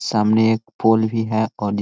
सामने एक पूल भी है और एक--